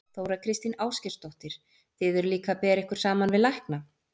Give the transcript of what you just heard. Þóra Kristín Ásgeirsdóttir: Þið eruð líka að bera ykkur saman við lækna?